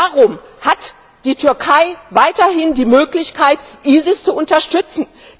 Warum hat die Türkei weiterhin die Möglichkeit, ISIS zu unterstützen?